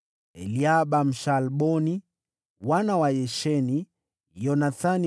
Eliaba, Mshaalboni; wana wa Yasheni; Yonathani